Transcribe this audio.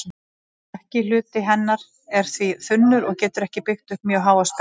Stökki hluti hennar er því þunnur og getur ekki byggt upp mjög háa spennu.